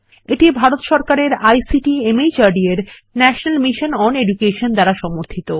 এটি ভারত সরকারের আইসিটি মাহর্দ এর ন্যাশনাল মিশন ওন এডুকেশন দ্বারা সমর্থিত